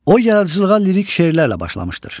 O, yaradıcılığa lirik şeirlərlə başlamışdır.